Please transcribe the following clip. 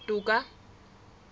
toka